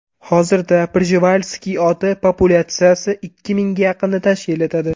Hozirda Prjevalksiy oti populyatsiyasi ikki mingga yaqinni tashkil etadi.